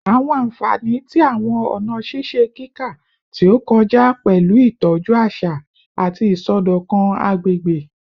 Awọn anfani ti awọn ọna ṣiṣe kika ti o kọja pẹlu itọju aṣa ati isọdọkan agbegbe